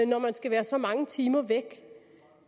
når man skal være så mange timer væk